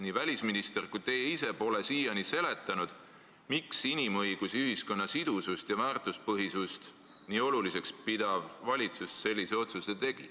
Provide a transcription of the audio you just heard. Ei välisminister ega teie ise pole siiani seletanud, miks inimõigusi, ühiskonna sidusust ja väärtuspõhisust nii oluliseks pidav valitsus sellise otsuse tegi.